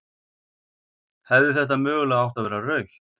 Hefði þetta mögulega átt að vera rautt?